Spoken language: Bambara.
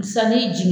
Sanni jeli